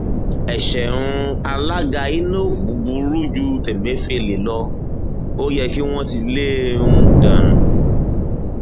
ẹṣẹ um alága inov burú ju tẹmẹfẹlẹ lọ ó yẹ kí wọn ti lé e um dànù